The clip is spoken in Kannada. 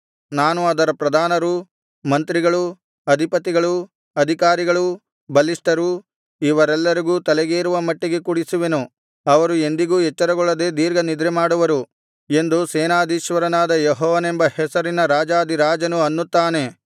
ನಾನು ಅದರ ಪ್ರಧಾನರು ಮಂತ್ರಿಗಳು ಅಧಿಪತಿಗಳು ಅಧಿಕಾರಿಗಳು ಬಲಿಷ್ಠರು ಇವರೆಲ್ಲರಿಗೂ ತಲೆಗೇರುವ ಮಟ್ಟಿಗೆ ಕುಡಿಸುವೆನು ಅವರು ಎಂದಿಗೂ ಎಚ್ಚರಗೊಳ್ಳದೆ ದೀರ್ಘನಿದ್ರೆಮಾಡುವರು ಎಂದು ಸೇನಾಧೀಶ್ವರನಾದ ಯೆಹೋವನೆಂಬ ಹೆಸರಿನ ರಾಜಾಧಿರಾಜನು ಅನ್ನುತ್ತಾನೆ